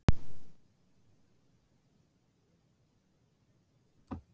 Hvað olli þessum hita í leiknum?